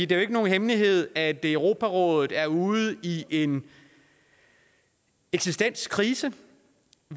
det er ikke nogen hemmelighed at europarådet er ude i en eksistenskrise